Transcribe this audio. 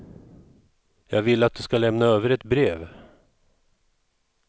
Jag vill att du ska lämna över ett brev.